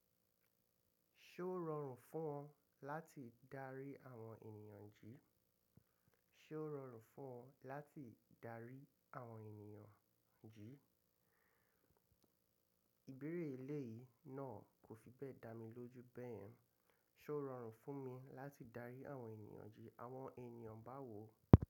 Ṣé ó rọrùn fún ọ láti darí àwọn ènìyàn jí? Ṣé ó rọrùn fún ọ láti darí àwọn ènìyàn jí? Ìbéèrè eléyìí náà kò fi bẹ́ẹ̀ dá mi lójú bẹ́ẹ̀. Ṣé ó rọrùn fún mi láti darí àwọn ènìyàn jí? Àwọn ènìyàn bá wo.